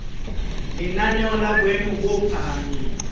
lenaneo la boemo bo phahameng